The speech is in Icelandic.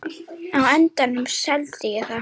Á endanum seldi ég það.